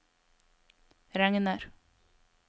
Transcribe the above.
regner